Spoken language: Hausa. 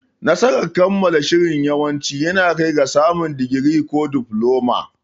Nasarar kammala shirin yawanci yana kaiwa ga samun digiri ko difloma.